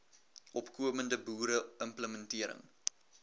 opkomende boere implementering